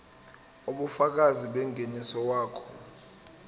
ubufakazi bengeniso wakho